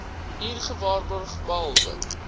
hier gewaarborg behalwe